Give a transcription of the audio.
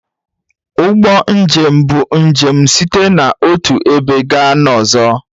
Ụgbọ njem bụ njem site n'otu ebe gaa n'ọzọ.